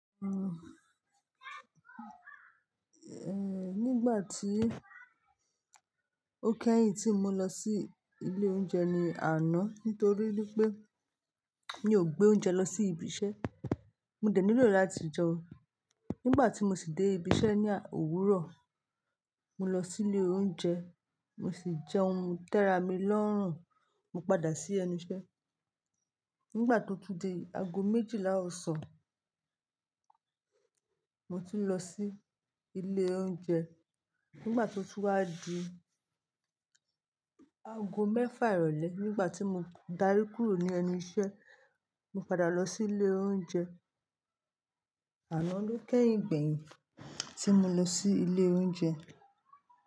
Uhm, eh, nígbà tí ó kẹ́yìn tí mo lọ sí ilé oúnjẹ ni àná nítorí wipé mi ò gbé oúnjẹ lọ sí ibi iṣẹ́. Mo dẹ̀ nílò láti jẹun. Nígbà tí mo sì dé ibi iṣẹ́ ní òwúrọ̀, mo lọ sí ilé oúnjẹ, mo sì jẹun tẹ́ra mi lọ́rùn, mo padà sí ẹnu iṣẹ́. Nígbà tó tú di aago méjìlá ọ̀sán, mo ti ń lọ sí ilé oúnjẹ. Nígbà tó tún wàdi aago mẹ́fà ìrọ̀lẹ́ nígbà tí mo darí kúrò ní ẹnu iṣẹ́, mo padà lọ sí ilé oúnjẹ. Àná ló kẹ́yìn gbẹ̀yìn tí mo lọ sí ilé oúnjẹ.